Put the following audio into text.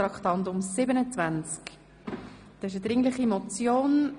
glp (Alberucci, Ostermundigen)